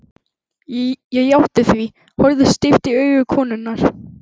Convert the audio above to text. Ég játti því, horfði stíft í augu konunnar.